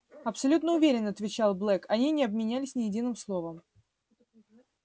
абсолютно уверен отвечал блэк они не обменялись ни единым словом